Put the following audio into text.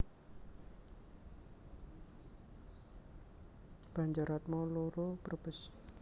Banjaratma loro Brebes